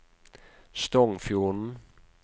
Stongfjorden